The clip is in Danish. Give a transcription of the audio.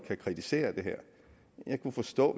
kritisere det her jeg kunne forstå